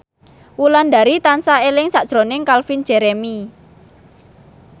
Wulandari tansah eling sakjroning Calvin Jeremy